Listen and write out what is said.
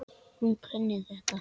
Hún kunni þetta.